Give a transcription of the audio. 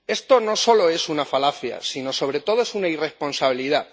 Esto no solo es una falacia, sino, sobre todo, es una irresponsabilidad.